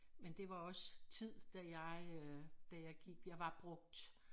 Men det også tid da jeg øh da jeg gik jeg var brugt